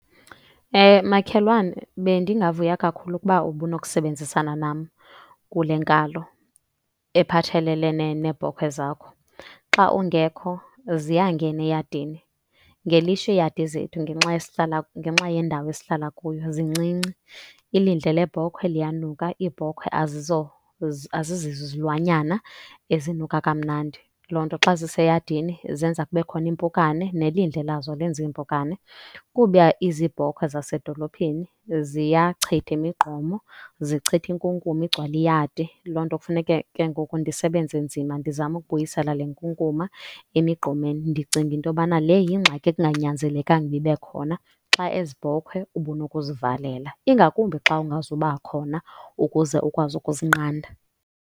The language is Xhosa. Makhelwane, bendingavuya kakhulu ukuba ubunokusebenzisana nam kule nkalo ephathelelene neebhokhwe zakho. Xa ungekho ziyangena eyadini. Ngelishwa iyadi zethu ngenxa ngenxa yendawo esihlala kuyo zincinci. Ilindle lebhokhwe liyanuka, iibhokhwe azizizo izilwanyana ezinuka kamnandi. Loo nto xa ziseyadini zenza kube khona iimpukane, nelindle lazo lenza iimpukane. Kuba izibhokhwe zasedolophini ziyachitha imigqomo, zichitha inkunkuma igcwale iyadi. Loo nto kufuneke ke ngoku ndisebenze nzima, ndizame ukubuyisela le nkunkuma emigqomeni. Ndicinga into yobana le yingxaki ekunganyanzelekanga ukuba ibe khona xa ezi bhokhwe ubunokuzivalela, ingakumbi xa ungazuba khona ukuze ukwazi ukuzinqanda.